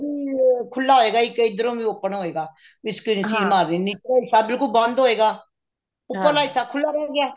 ਇਹ ਖੁੱਲਾ ਹੋਇਗਾ ਇੱਧਰੋਂ ਵੀ open ਹੋਇਗਾ ਵੀ ਉਹ ਹਿੱਸਾ ਬਿਲਕੁਲ ਬੰਦ ਹੋਇਗਾ ਉੱਪਰਲਾ ਹਿੱਸਾ ਖੁੱਲਾ ਰਿਹ ਗਿਆ